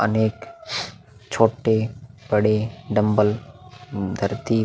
अनेक छोटे-बड़े डम्बल धरती --